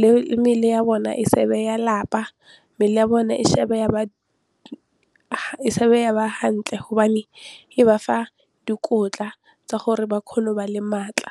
le mebele ya bona e se be ya lapa, mmele ya bona e ya ba hantle hobane e ba fa dikotla tsa gore ba kgone go ba le maatla.